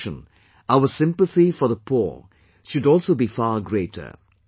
In addition, our sympathy for the poor should also be far greater